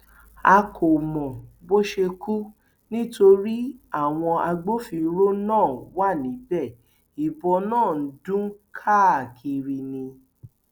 a kò mọ bó ṣe kú nítorí àwọn agbófinró náà wà níbẹ ìbọn ń dún káàkiri ni